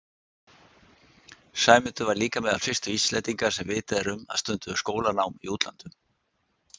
Sæmundur var líka meðal fyrstu Íslendinga sem vitað er um að stunduðu skólanám í útlöndum.